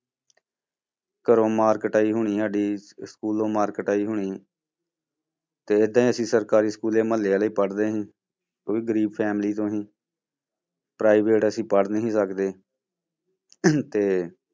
ਘਰੋਂ ਮਾਰ ਕੁਟਾਈ ਹੋਣੀ ਸਾਡੀ ਸਕੂਲੋਂ ਮਾਰ ਕੁਟਾਈ ਹੋਣੀ ਤੇ ਏਦਾਂ ਹੀ ਅਸੀਂ ਸਰਕਾਰੀ ਸਕੂਲੇ ਮੁਹੱਲੇ ਵਾਲੇ ਪੜ੍ਹਦੇ ਸੀ ਉਹ ਵੀ ਗ਼ਰੀਬ family ਤੋਂ ਸੀ private ਅਸੀਂ ਪੜ੍ਹ ਨੀ ਸੀ ਸਕਦੇ ਤੇ